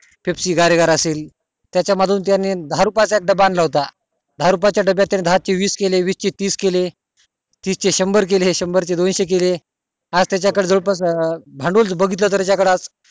Pepsi गारीगार अशे त्याच्या मधून त्यांनी दहा रुपये चा डब्बा आणला होता दहा रुपया च्या डब्या चे दहा चे वीस केले वीस चे तीस केले तीस चे शंभर केले शंभर चे दोनशे केले आज त्याच्या कडे जवळ पास भांडवल बघितलं तर त्याच्या कडे आज